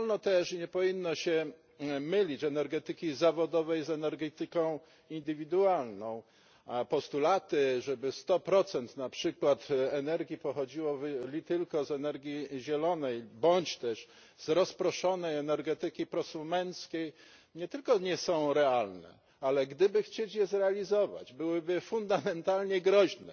Nie wolno też i nie powinno się mylić z energetyki zawodowej z energetyką indywidualną, a postulaty, żeby 100 na przykład energii pochodziło z energii zielonej bądź też z rozproszonej energetyki prosumenckiej, nie tylko nie są realne, ale gdyby chcieć je zrealizować, byłyby fundamentalnie groźne